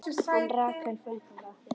En Rakel frænka?